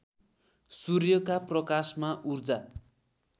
सूर्यका प्रकाशमा ऊर्जा